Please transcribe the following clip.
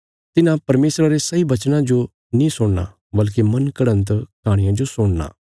तिन्हां परमेशरा रे सही वचनां जो नीं सुणना वल्कि मन गढ़ंत कहाणियां जो सुणना